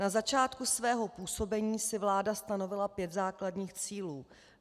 Na začátku svého působení si vláda stanovila pět základních cílů.